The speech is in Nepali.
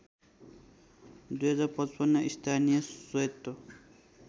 २०५५ स्थानीय स्वयत्त